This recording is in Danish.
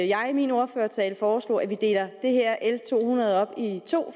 jeg i min ordførertale foreslog nemlig at vi deler l to hundrede op i to